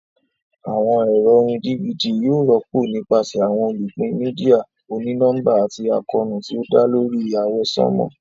Awọn ẹrọ orín DVD yóò rọpo nipasẹ awọn olupin media òní nọmba ati àkóónú ti o dá lórí àwọsánmà.